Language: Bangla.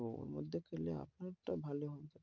তো ওর মধ্যে পেলে আপনার টা ভালো হবে,